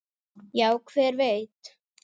Já, hver veit?